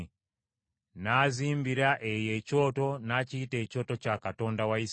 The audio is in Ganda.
N’azimbira eyo ekyoto n’akiyita Ekyoto kya Katonda wa Isirayiri.